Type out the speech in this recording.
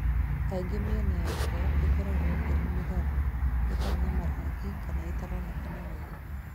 Kaingĩ mĩena yarĩo ĩkoragwo ĩrĩ mĩgarũ, ĩtarĩ na marangi, kana ĩtaroneka wega.